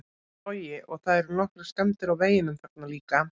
Logi: Og það eru nokkrar skemmdir á veginum þarna líka?